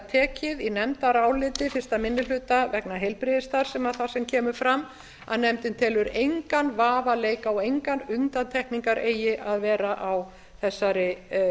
tekið í nefndaráliti eins minni hluta vegna heilbrigðisstarfs þar sem kemur fram að nefndin telur engan vafa leika og engar undantekningar eigi að vera á þessari